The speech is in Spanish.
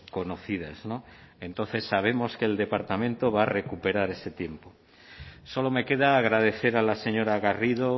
conocidas entonces sabemos que el departamento va a recuperar tiempo solo me queda agradecer a la señora garrido